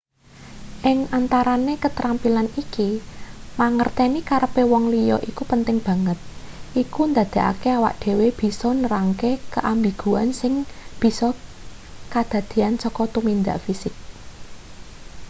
ing antarane ketrampilan iki mangerteni karepe wong liya iku penting banget iku ndadekake awake dhewe bisa nerangake keambiguan sing bisa kadadean saka tumindak fisik